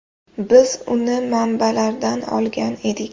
Biz uni manbalardan olgan edik.